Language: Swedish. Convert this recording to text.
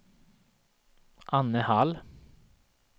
Anne Hall